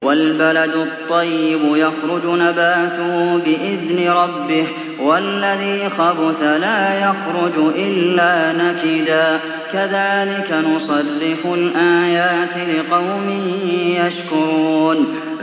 وَالْبَلَدُ الطَّيِّبُ يَخْرُجُ نَبَاتُهُ بِإِذْنِ رَبِّهِ ۖ وَالَّذِي خَبُثَ لَا يَخْرُجُ إِلَّا نَكِدًا ۚ كَذَٰلِكَ نُصَرِّفُ الْآيَاتِ لِقَوْمٍ يَشْكُرُونَ